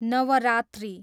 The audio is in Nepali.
नवरात्रि